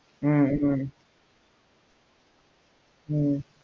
ஹம் ஹம் ஹம்